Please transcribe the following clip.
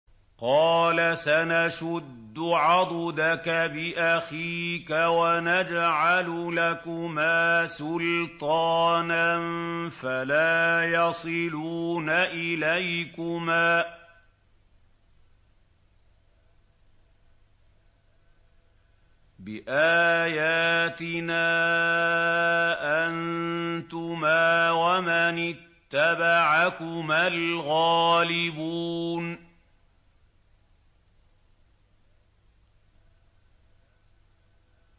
قَالَ سَنَشُدُّ عَضُدَكَ بِأَخِيكَ وَنَجْعَلُ لَكُمَا سُلْطَانًا فَلَا يَصِلُونَ إِلَيْكُمَا ۚ بِآيَاتِنَا أَنتُمَا وَمَنِ اتَّبَعَكُمَا الْغَالِبُونَ